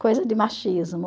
Coisa de machismo.